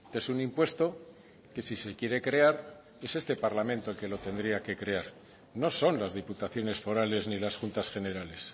es un impuesto que si se quiere crear es este parlamento el que lo tendría que crear no son las diputaciones forales ni las juntas generales